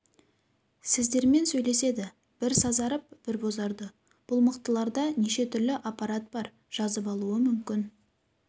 сіздермен сөйлеседі бір сазарып бір бозарды бұл мықтыларда неше түрлі аппарат бар жазып алуы мүмкін